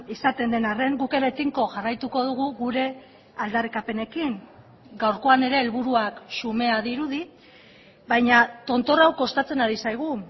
izaten den arren guk ere tinko jarraituko dugu gure aldarrikapenekin gaurkoan ere helburuak xumea dirudi baina tontor hau kostatzen ari zaigu